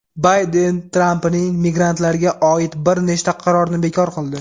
Bayden Trampning migrantlarga oid bir nechta qarorini bekor qildi.